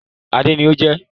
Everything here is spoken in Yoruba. Adé ni o jẹ